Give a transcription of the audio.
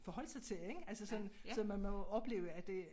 Forholdt sig til ik altså sådan så man må jo opleve at det